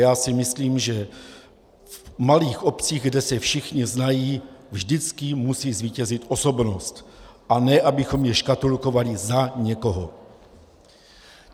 Já si myslím, že v malých obcích, kde se všichni znají, vždycky musí zvítězit osobnost, a ne abychom je škatulkovali za někoho.